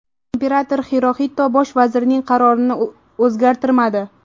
Imperator Xiroxito bosh vazirning qarorini o‘zgartirmadi.